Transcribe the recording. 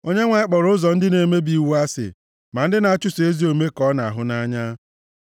Onyenwe anyị kpọrọ ụzọ ndị na-emebi iwu asị, ma ndị na-achụso ezi omume ka ọ na-ahụ nʼanya.